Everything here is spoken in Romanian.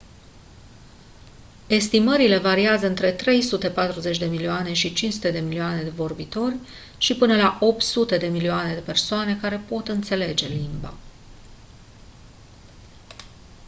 estimările variază între 340 de milioane și 500 de milioane de vorbitori și până la 800 de milioane de persoane care pot înțelege limba